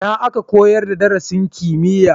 Ina aka koyar da darasin kimiyya?